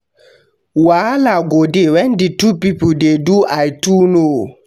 Wahala go de when di two pipo de do I too know